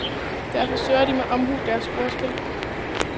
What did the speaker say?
Derfor søger de med omhu deres ordspil.